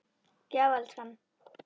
Já, elskan.